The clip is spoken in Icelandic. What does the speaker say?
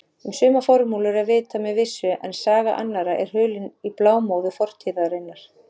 Um sumar formúlur er vitað með vissu en saga annarra er hulin í blámóðu fortíðarinnar.